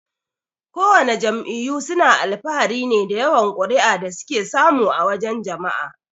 Kowana jam'iyyu suna alfahari ne da yawan kuri'a da suke samu a wajan jama'a.